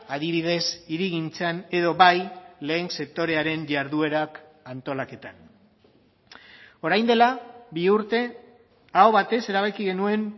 adibidez hirigintzan edo bai lehen sektorearen jarduerak antolaketan orain dela bi urte aho batez erabaki genuen